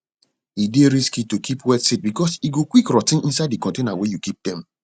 e dey risky to keep wet seed because e go quick rot ten inside di container wey you keep dem